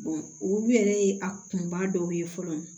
olu yɛrɛ ye a kunba dɔw ye fɔlɔ